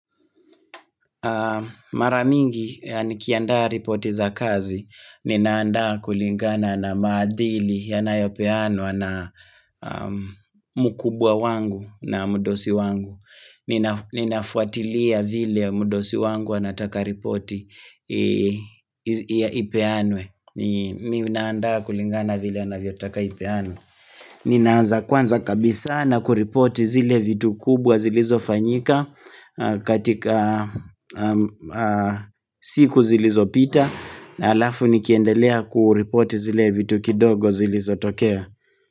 Na maramingi ya nikiendaa ripoti za kazi, ninaandaa kulingana na madhili yana yopeanwa na mkubwa wangu na mdosi wangu Ninafuatilia vile mdosi wangu anataka ripoti ya ipeanwe Ninandaa kulingana vile anavyo taka ipeanwe Ninaanza kwanza kabisa na kuripoti zile vitu kubwa zilizo fanyika katika siku zilizo pita na alafu nikiendelea kuripoti zile vitu kidogo zilizo tokea.